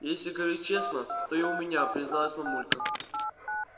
если говорить честно то и у меня призналась мамулька